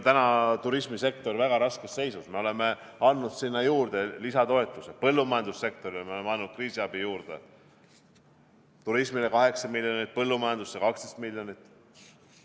Turismisektor on väga raskes seisus, me oleme andnud sinna juurde lisatoetuse, põllumajandussektorile oleme pannud kriisiabi juurde, turismile 8 miljonit, põllumajandusse 12 miljonit.